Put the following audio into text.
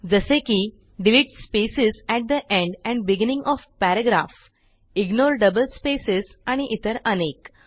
जसे की delete spaces at the end and beginning O F paragraph ignore double spaces आणि इतर अनेक